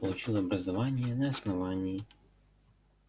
получил образование на основании